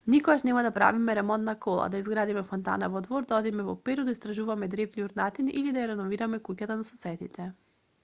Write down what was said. никогаш нема да правиме ремонт на кола да изградиме фонтана во двор да одиме во перу да истражуваме древни урнатини или да ја реновираме куќата на соседите